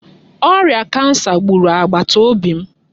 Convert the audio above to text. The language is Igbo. Ọrịa kansa gburu agbata obi m